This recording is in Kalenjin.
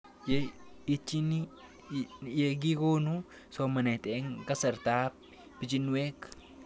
Ye itchini ye kikonu somanet eng' kasarab pichinwek